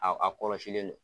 Aw a kɔlɔsilen don.